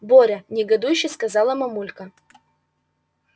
боря негодующе сказала мамулька